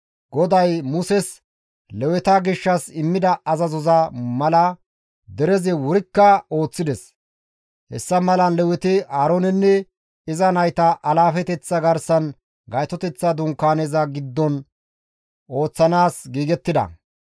GODAY Muses Leweta gishshas immida azazoza mala derezi wurikka ooththides; hessa malan Leweti Aaroonenne iza nayta alaafeteththa garsan Gaytoteththa Dunkaaneza giddon ooththanaas giigettida.